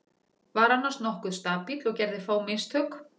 Var annars nokkuð stabíll og gerði fá mistök.